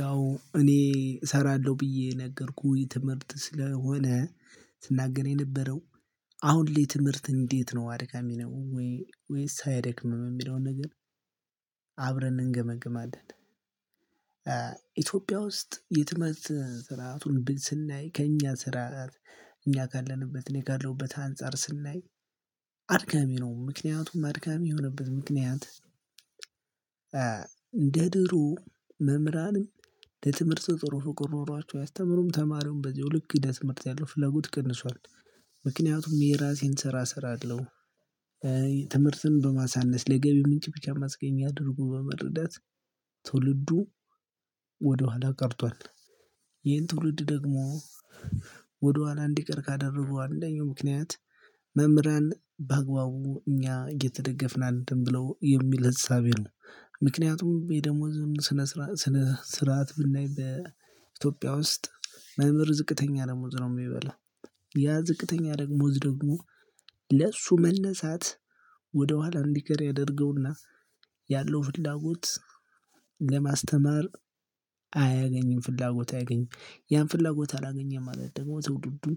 ያው እኔ እሰራለሁ ብዬ የነገርኩኝ ትምህርት ስለሆነ ስናገር የነበረው አሁን ላይ ትምህርት እንዴት ነው አድካሚ ነው ወይ ወይስ አያደክምም የሚለውን ነገር አብረን እንገመግማለን ኢትዮጵያ ውስጥ የትምህርት ጥራቱን ብን ስናይ ከእኛ ስራ ጋር እኛ ካለንበት እኔ ካለሁበት አንፃር ስናይ አድካሚ ነው ምክንያቱም አድካሚ የሆነበት ምክንያት እንደ ድሮ መምህራንም ለትምህርት ጥሩ ፍቅር ኖሯቸው አያስተምሩም ተማሪውን በዚያው ልክ ለትምህርት ያለው ፍለጎት ቀንሷል ምክንያቱም የራሴን ስራ እሰራለሁ ትምህርትን በማሳነስ ለገቢ ምንጭ ብቻ ማስገኛ አድርጎ በመረዳት ትውልዱ ወደኋላ ቀርቷል ይሄን ትውልድ ደግሞ ወደኋላ እንዲቀር ካደረጉ አንደኛው ምክንያት መምህራን በአግባቡ እኛ እየተደገፍን አይደለም ብለው የሚል እሳቤ ነው ምክንያቱም የደሞዝን ስነ ስርዓት ብናይ በኢትዮጵያ ውስጥ መምህር ዝቅተኛ ደሞዝ ነው የሚበላ ያ ዝቅተኛ ደግሞዝ ደግሞ ለእሱ መነሳት ወደ ኋላ እንዲቀር ያደርገውና ያለው ፍላጎት ለማስተማር አያገኝም ፍላጎት አያገኝም ያን ፍላጎት አላገኘም ማለት ደግሞ ትውልዱን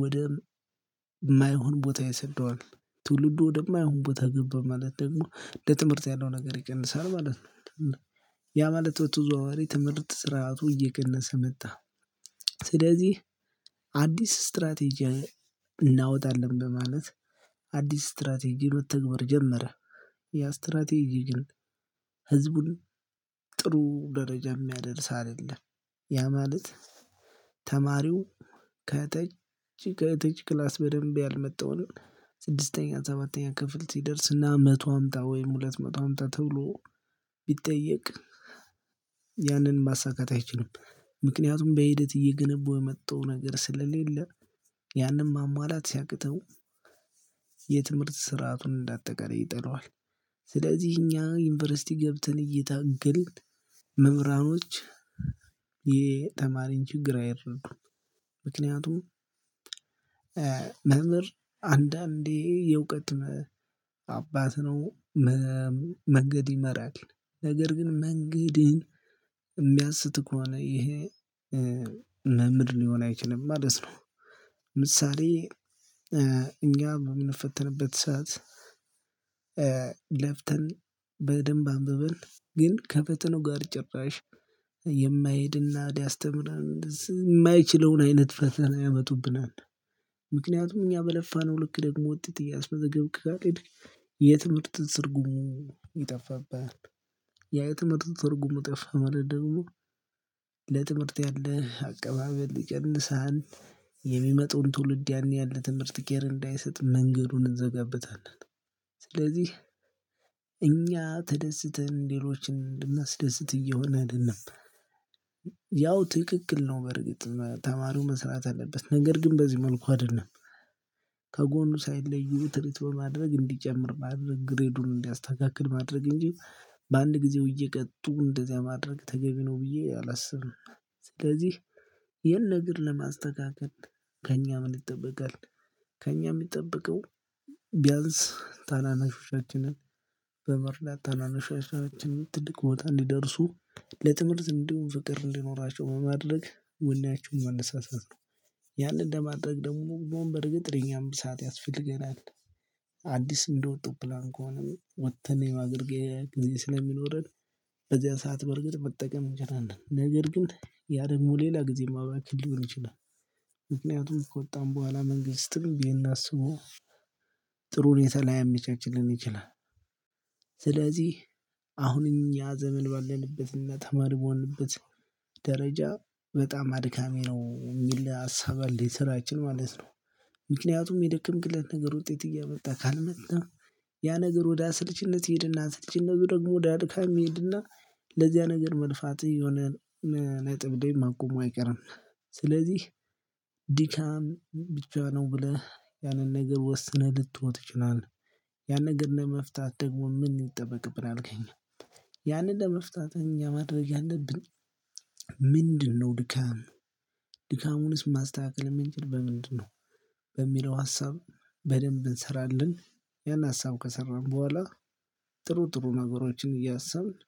ወደ እማይሆን ቦታ ይሰደዋል ትውልዱ ወደማይሆን ቦታ ገባ ማለት ደግሞ ለትምህርት ያለው ነገር ይቀንሳል ማለት ነው ያ ማለት በተዘዋዋሪ ትምህርት ስርዓቱ እየቀነሰ መጣ ስለዚህ አዲስ ስትራቴጂ እናወጣለን በማለት አዲስ ስትራቴጂ መተግበር ጀመረ ያ ስትራቴጂ ግን ህዝቡን ጥሩ ደረጃ የሚያደርስ አይደለም ያ ማለት ተማሪው ከታች ከታች ክላስ በደንብ ያልመጣውን ስድስተኛ ሰባተኛ ክፍል ሲደርስ ና መቶ አምጣ ወይም ሁለት መቶ አምጣ ተብሎ ቢጠየቅ ያንን ማሳካት አይችልም ምክንያቱም በሂደት እየገነበው የመጣው ነገር ስለሌለ ያንን ማሟላት ሲያቅተው የትምህርት ስርዓቱን እንደ አጠቃላይ ይጠለዋል ስለዚህ እኛ ዩኒቨርሲቲ ገብተን እየታገልን መምህራኖች የተማሪን ችግር አይረዱም ምክንያቱም መምህር አንዳንዴ የእውቀት አባት ነው መንገድ ይመራል ነገር ግን መንገድህን የሚያስት ከሆነ ይሄ መምህር ሊሆን አይችልም ማለት ነው ምሳሌ እኛ በምንፈተንበት ሰዓት ለፍተን በደንብ አንብበን ግን ከፈተናው ጋር ጭራሽ የማይሄድና ሊያስተምረን እንደዚህ የማይችለውን አይነት ፈተና ያመጡብናል ምክንያቱም እኛ በለፋነው ልክ ደግሞ ወጥተህ እያስመዘገብክ ካልሄድክ የትምህርት ትርጉሙ ይጠፋብሃል የትምህርት ትርጉሙ ጠፋ ማለት ደግሞ ለትምህርት ያለህ አቀባበል ይቀንሳል የሚመጣውን ትውልድ ያን ያህል ለትምህርት ኬር እንዳይሰጥ መንገዱን እንዘጋበታለን ስለዚህ እኛ ተደስተን ሌሎችን እንድናስደስት እየሆነ አይደለም ያው ትክክል ነው በርግጥ ተማሪው መስራት አለበት ነገር ግን በዚህ መልኩ አይደለም ከጎኑ ሳይለዩ ትሪት በማድረግ እንዲጨምር ማድረግ ግሬዱን እንዲያስተካክል ማድረግ እንጂ በአንድ ጊዜው እየቀጡ እንደዚያ ማድረግ ተገቢ ነው ብዬ አላስብም ስለዚህ ይህን ነገር ለማስተካከል ከእኛ ምን ይጠበቃል? ከእኛ የሚጠበቀው ቢያንስ ታናናሾቻችንን በመርዳት ታናናሾቻችንን ትልቅ ቦታ እንዲደርሱ ለትምህርት እንዲሁም ፍቅር እንዲኖራቸው በማድረግ ወኔያቸውን ማነሳሳት ነው ያንን ለማድረግ ደግሞ በርግጥ ለኛም ሰዓት ያስፈልገናል አዲስ እንደወጡ ፕላን ከሆነ ወጥተን የማገልገል ጊዜ ስለሚኖረን በዚያ ሰዓት በርግጥ መጠቀም እንችላለን ነገር ግን ያ ደግሞ ሌላ ጊዜ ማባከን ሊሆን ይችላል ምክንያቱም ከወጣን በኋላ መንግስትም ይህን አስቦ ጥሩ ሁኔታ ላያመቻችልን ይችላል ስለዚህ አሁንም ያ ዘመን ባለበትና ተማሪ በሆንበት ደረጃ በጣም አድካሚ ነው የሚል ሀሳብ አለ የስራችን ማለት ነው ምክንያቱም የደከምክለት ነገር ውጤት እያመጣ ካልመጣ ያ ነገር ወደ አሰልችነት ይሄድና ስልችነቱ ደግሞ ወደ አድካሚ ይሄድና ለዚያ ነገር መልፋት የሆነ ነጥብ ደግሞ ማቆሙ አይቀርም ስለዚህ ድካም ብቻ ነው ብለህ ያንን ነገር ወስነህ ልተወው ትችላለህ ያንን ነገር ለመፍታት ደግሞ ምን ይጠበቅብናል? አልገኝም ያንን ለመፍታት እኛ ማድረግ ያለብኝ ምንድነው ድካም ድካሙንስ ማስተካከል የምንችል በምንድነው በሚለው ሀሳብ በደንብ እንሰራለን ያን ሀሳብ ከሰራን በኋላ ጥሩ ጥሩ ነገሮችን እያሰብን